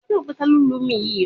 Bẹẹni, Mó n rá kọnputa náà